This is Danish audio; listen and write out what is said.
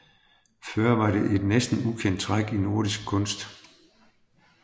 Før var det et næsten ukendt træk i nordisk kunst